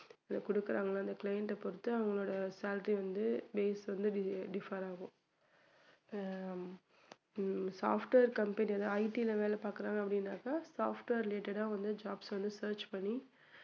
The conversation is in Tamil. குடுக்குறாங்க அந்த client அ பொறுத்து அவங்களோட salary வந்து base வந்து differ ஆகும் ஆஹ் software company வந்து IT ல வேலை பாக்குறாங்க அப்படின்னாக்க software related ஆ வந்து jobs வந்து search பண்ணி